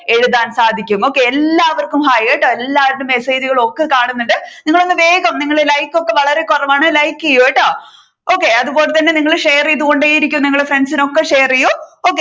എഴുതാൻ സാധിക്കും okay എല്ലാവര്ക്കും hi കേട്ടോ എല്ലാവരുടെയും message കൾ ഒക്കെ കാണുന്നുണ്ട് നിങ്ങൾ ഒന്ന് വേഗം like ഒക്കെ വളരെ കുറവാണ് like ചെയ്യൂ കേട്ടോ അതുപോലെ തന്നെ നിങ്ങൾ share ചെയ്തൂ കൊണ്ടേയിരിക്കൂ നിങ്ങൾ friends ഇൻ ഒക്കെ share ചെയ്യൂ okay